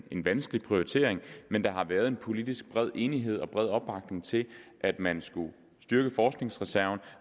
vanskelig prioritering men der har været en politisk bred enighed og bred opbakning til at man skulle styrke forskningsreserven